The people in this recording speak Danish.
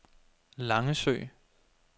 Langesø